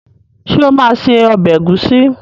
Ṣé ó máa se ọbẹ̀ ẹ̀gúsí.